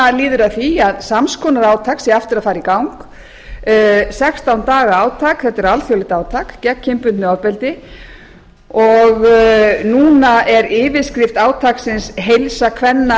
nú líður að því að sams konar alþjóðlegt átak sé aftur að fara í gang sextán daga átak gegn kynbundnu ofbeldi yfirskrift átaksins er heilsa kvenna